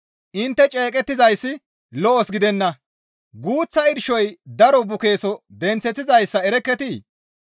Intte ceeqettizayssi lo7os gidenna; guuththa irshoy daro bukeeso denththeththizaa erekketii?